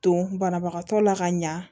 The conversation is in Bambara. Don banabagatɔ la ka ɲa